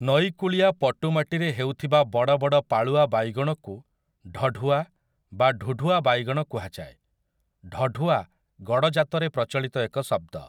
ନଈ କୂଳିଆ ପଟୁମାଟିରେ ହେଉଥିବା ବଡ଼ ବଡ଼ ପାଳୁଆ ବାଇଗଣକୁ ଢଢ଼ୁଆ ବା ଢୁଢୁଆ ବାଇଗଣ କୁହାଯାଏ । ଢଢ଼ୁଆ ଗଡ଼ଜାତରେ ପ୍ରଚଳିତ ଏକ ଶବ୍ଦ ।